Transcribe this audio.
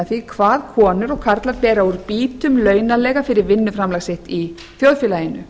því hvað konur og karlar bera úr býtum launalega fyrir vinnuframlag sitt í þjóðfélaginu